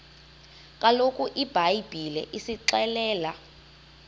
kaloku ibhayibhile isixelela